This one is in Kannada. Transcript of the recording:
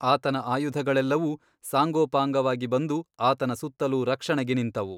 ಆತನ ಆಯುಧಗಳೆಲ್ಲವೂ ಸಾಂಗೋಪಾಂಗವಾಗಿ ಬಂದು ಆತನ ಸುತ್ತಲೂ ರಕ್ಷಣೆಗೆ ನಿಂತವು.